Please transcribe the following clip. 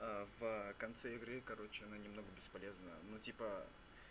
аа в конце игры короче она немного бесполезна ну типа